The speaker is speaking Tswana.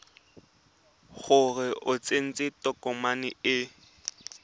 gore o tsentse tokomane e